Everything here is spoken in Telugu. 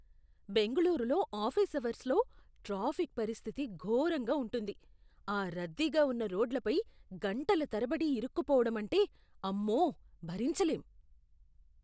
బెంగుళూరులో ఆఫీస్ అవర్సులో ట్రాఫిక్ పరిస్థితి ఘొరంగా ఉంటుంది. ఆ రద్దీగా ఉన్నరోడ్లపై గంటల తరబడి ఇరుక్కుపోవడం అంటే, అమ్మో! భరించలేం.